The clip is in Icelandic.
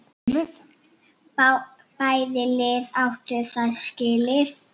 Bæði lið áttu það skilið.